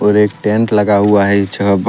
और एक टेंट लगा हुआ है जहां पर--